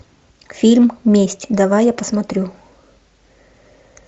фильм месть давай я посмотрю